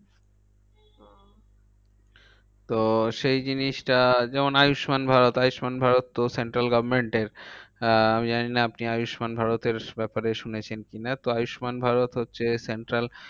তো সেই জিনিসটা যেমন আয়ুষ্মান ভারত। আয়ুষ্মান ভারত তো central government এর আহ আমি জানিনা আপনি আয়ুষ্মান ভারতের ব্যাপারে শুনেছেন কি না? তো আয়ুষ্মান ভারত হচ্ছে central